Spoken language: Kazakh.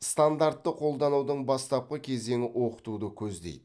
стандартты қолданудың бастапқы кезеңі оқытуды көздейді